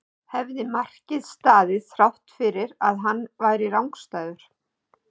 hefði markið staðið þrátt fyrir að hann væri rangstæður?